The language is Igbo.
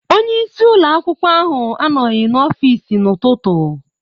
Onye isi ụlọ akwụkwọ ahụ anọghị n'ọfịsi n'ụtụtụ.